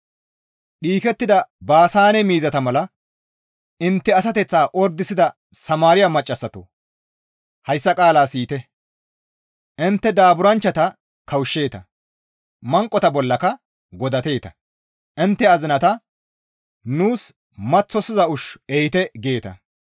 Dhiikettida Baasaane miizata mala intte asateththa ordisida Samaariya maccassatoo! Hayssa qaala siyite! Intte daaburanchchata kawushsheeta; manqota bollaka godateeta; intte azinata, «Nuus maththosiza ushshu ehite» geeta.